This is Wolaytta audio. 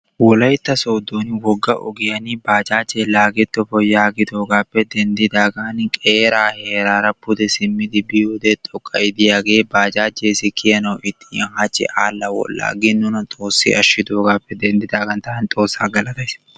wolaytta sooddon wogga ogiyaan bajajje laagettoppo yaagidoogappe denddidaagan qeera heerara pude simmidi biyoode xoqqay diyaage bajajjassi kiyyanaw ixxin hachchi aadhdha wodhdhaagin nuna xoossay ashshidoogappe denddidaagan taabni xoossa galatays.